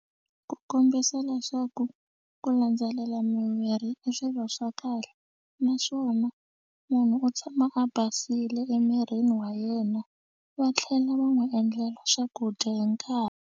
Ku kombisa leswaku ku landzelela mimirhi i swilo swa kahle naswona munhu u tshama a basile emirini wa yena va tlhela va n'wi endlela swakudya hi nkarhi.